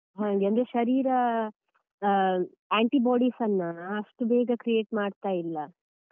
ಅಂದ್ರೆ ಶರೀರ antibodies ಅನ್ನ ಅಷ್ಟು ಬೇಗ create ಮಾಡ್ತಾ ಇಲ್ಲ.